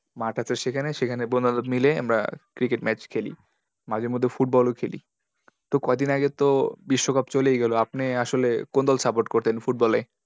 মাঠ আছে সেখানে, সেখানে বন্ধু বান্ধব মিলে আমরা cricket match খেলি। মাঝে মধ্যে football ও খেলি। তো কয়দিন আগে তো বিশ্বকাপ চলেই গেলো। আপনি আসলে কোন দল support করতেন Football এ?